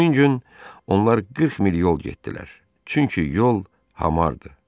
Həmin gün onlar 40 mil yol getdilər, çünki yol hamardı.